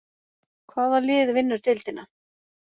Hvaða lið vinnur deildina?